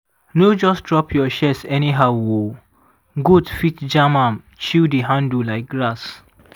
no just drop your shears anyhow oh goat fit jam am chew di handle like grass.